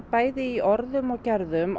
bæði í orðum og gerðum